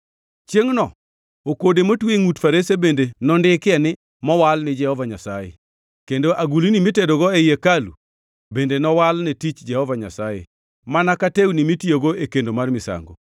Chiengʼno okode motwe e ngʼut farese bende nondikie ni mowal ni Jehova Nyasaye kendo agulni mitedogo ei hekalu bende nowal ne tich Jehova Nyasaye mana ka tewni mitiyogo e kendo mar misango.